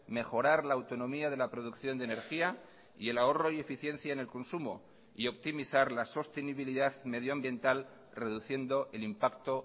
mejorar la autonomía de la producción de energía y el ahorro y eficiencia en el consumo y optimizar la sostenibilidad medioambiental reduciendo el impacto